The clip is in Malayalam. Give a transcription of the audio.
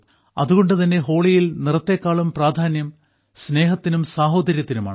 അതുകൊണ്ടുതന്നെ ഹോളിയിൽ നിറത്തെക്കാളും പ്രാധാന്യം സ്നേഹത്തിനും സാഹോദര്യത്തിനുമാണ്